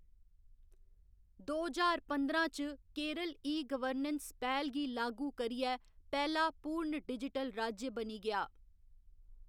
दो ज्हार पंदरां च केरल ई गवर्नेंस पैह्‌‌ल गी लागू करियै पैह्‌‌ला पूर्ण डिजिटल राज्य बनी गेआ।